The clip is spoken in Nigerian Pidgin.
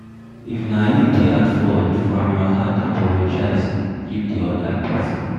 If na you dey at fault, from your heart apologize give di oda person